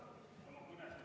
Lugupeetud minister!